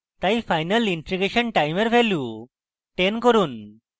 তাই final integration time এর value 10 করুন